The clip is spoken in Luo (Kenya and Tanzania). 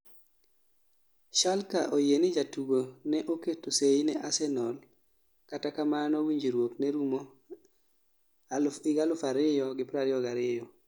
Schalke oyie ni jatugo no oketo seyi ne Arsenal kata kamano winjruok ne rumo 2022